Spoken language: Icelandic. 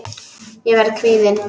Ég verð kvíðin.